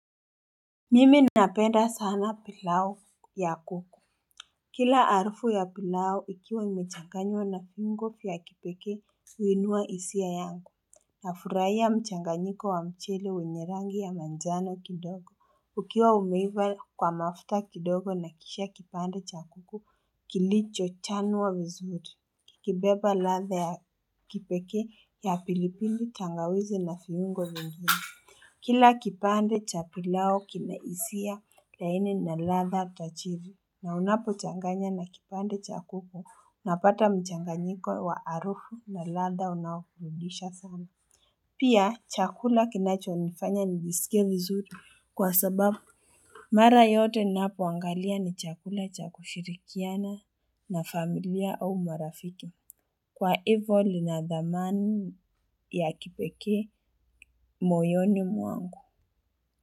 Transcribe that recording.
Mimi napenda sana pilau ya kuku. Kila harufu ya pilau ikiwa imechanganywa na viungo vya kipekee huinua hisia yangu nafurahia mchanganyiko wa mchele wenye rangi ya manjano kidogo. Ukiwa umeiva kwa mafta kidogo na kisha kipande cha kuku kilicho chanwa vizuri. Kikebeba latha ya kipekee ya pilipili tangawizi na viungo vingine. Kila kipande cha pilau kinahisia laini na latha tajiri na unapo changanya na kipande chakuko unapata mchanganyiko wa harufu na latha unaokurudisha sana. Pia chakula kinacho nifanya nijisikie vizuri kwa sababu. Mara yote ninapo angalia ni chakula cha kushirikiana na familia au marafiki. Kwa hivyo linadhamani ya kipekee moyoni mwangu.